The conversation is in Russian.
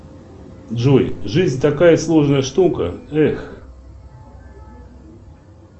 джой жизнь такая сложная штука эх